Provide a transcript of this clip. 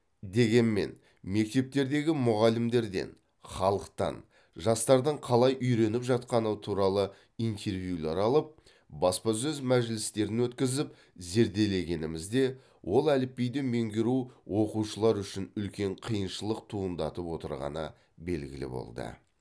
дегенмен мектептердегі мұғалімдерден халықтан жастардың қалай үйреніп жатқаны туралы интервьюлер алып баспасөз мәжілістерін өткізіп зерделегенімізде ол әліпбиді меңгеру оқушылар үшін үлкен қиыншылық туындатып отырғаны белгілі болды